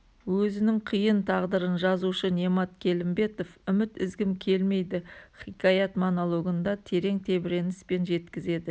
өзінің қиын тағдырын жазушы немат келімбетов үміт үзгім келмейді хикаят-монологында терең тебіреніспен жеткізеді